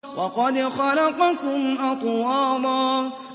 وَقَدْ خَلَقَكُمْ أَطْوَارًا